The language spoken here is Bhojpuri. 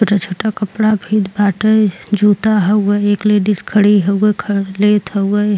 छोटा-छोटा कपड़ा फित बाटै। जूता हउए। एक लेडीस खड़ी हउए ख लेत हउए।